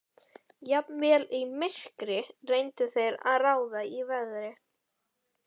Jafnvel í myrkri reyndu þeir að ráða í veðrið.